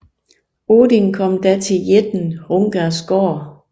Odin kom da til jætten Hrungners gård